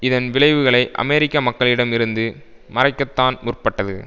இதன் விளைவுகளை அமெரிக்க மக்களிடம் இருந்து மறைக்கத்தான் முற்பட்டது